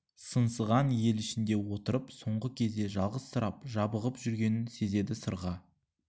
сыңсыған ел ішінде отырып соңғы кезде жалғызсырап жабығып жүргенін сезеді сырға